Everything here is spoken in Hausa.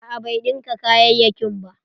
A'a bai ɗinka kayayakin ba.